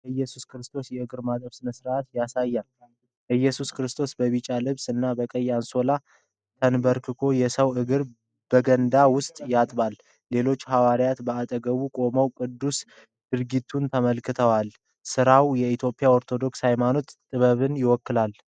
የኢየሱስ ክርስቶስን የእግር ማጠብ ሥነ-ሥርዓት ያሳያል። ኢየሱስ በቢጫ ልብስ እና ቀይ አንሶላ ተንበርክኮ የሰውን እግር በገንዳ ውስጥ ያጥባል። ሌሎች ሐዋርያትም በአጠገቡ ቆመው ቅዱስ ድርጊቱን ተመልክተዋል። ሥራው የ ኢትዮጵያ ሃይማኖታዊ ጥበብን ይወክላል።